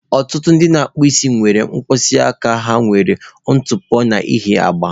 Ọtụtụ ndị na-akpụ isi nwere mkpịsị aka ha nwere ntụpọ n'ihi agba.